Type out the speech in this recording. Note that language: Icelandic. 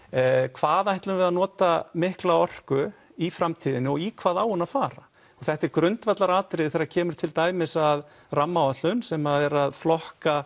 hvað ætlum við að nota mikla orku í framtíðinni og í hvað á hún að fara þetta er grundvallaratriði þegar kemur til dæmis að rammaáætlun sem er að flokka